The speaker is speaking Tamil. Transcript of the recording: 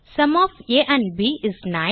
sum of a and b is 9